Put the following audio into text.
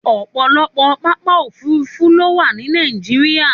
Òpọ̀lọpọ̀ pápá òfurufú ló wà ní Nàìjíríà.